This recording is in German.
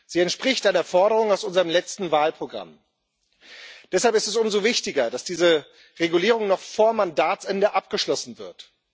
sie entspricht einer Forderung aus unserem letzten Wahlprogramm. Deshalb ist es umso wichtiger, dass diese Regulierung noch vor Mandatsende abgeschlossen wird.